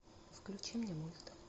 включи мне мульт